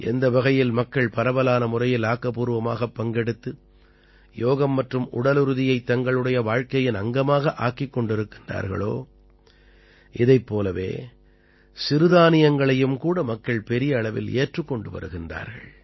எந்த வகையில் மக்கள் பரவலான முறையில் ஆக்கப்பூர்வமாக பங்கெடுத்து யோகம் மற்றும் உடலுறுதியைத் தங்களுடைய வாழ்க்கையின் அங்கமாக ஆக்கிக் கொண்டிருக்கிறார்களோ இதைப் போலவே சிறுதானியங்களையும் கூட மக்கள் பெரிய அளவில் ஏற்றுக் கொண்டு வருகிறார்கள்